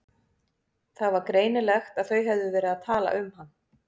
Það var greinilegt að þau höfðu verið að tala um hann.